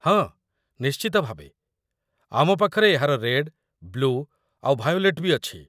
ହଁ, ନିଶ୍ଚିତ ଭାବେ, ଆମପାଖରେ ଏହାର ରେଡ୍, ବ୍ଲୁ ଆଉ ଭାୟୋଲେଟ୍ ବି ଅଛି ।